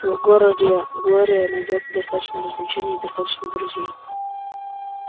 в городе глория найдёт достаточно развлечений и достаточно друзей